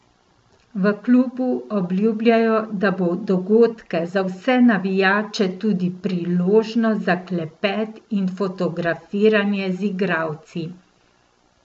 V klubu obljubljajo, da bo dogodke za vse navijače tudi priložnost za klepet in fotografiranje z igralci.